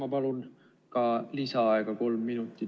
Ma palun ka lisaaega kolm minutit.